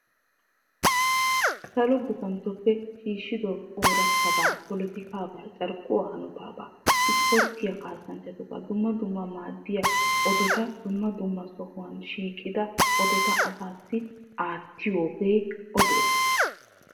salo guppantotuppe shiishido polotikaabaa carkkuwaa hanotaabaa isporttiyaa kasanchchatubaa dumma dumma maaddiyaa oodota dumma dumma sohuwaan shiiqqida oodota asaassi aattiyoogee ooduwaa.